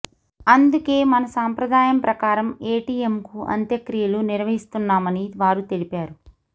అందుకే మన సంప్రదాయం ప్రకారం ఏటీఎంకు అంత్యక్రియలు నిర్వహిస్తున్నామని వారు తెలిపారు